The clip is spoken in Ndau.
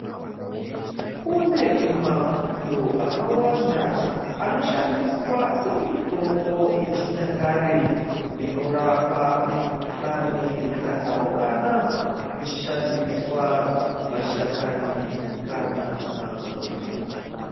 Kune mapundo akawanda anoshandiswa semitombo yechinyakare inorapa mikhuhlani yakatsaukana kuchishandiswa mashakani kana maruva.